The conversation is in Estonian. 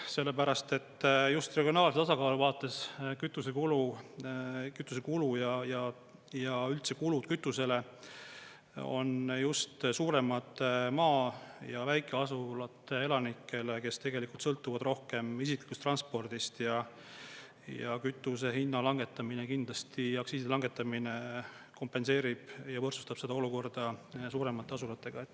Sellepärast et just regionaalse tasakaalu vaates kütusekulu ja üldse kulud kütusele on just suuremad maa- ja väikeasulate elanikele, kes tegelikult sõltuvad rohkem isiklikust transpordist ja kütuse hinna langetamine, kindlasti aktsiiside langetamine kompenseerib ja võrdsustab seda olukorda suuremate asulatega.